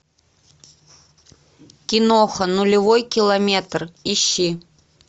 киноха нулевой километр ищи